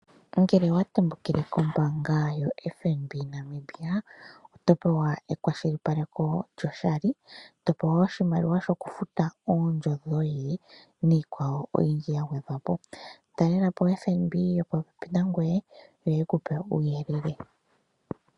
Ngela owa tembukile kombanga yo FNB Namibia, oto pewa ekwashilipaleko lyoshali, to pewa wo oshimaliwa shoku futa oondjo dhoye niikwawo oyindji ya gwedhwapo. Talelapo oFNB yopo pepi nangoye, yo yeku pe uuyelele.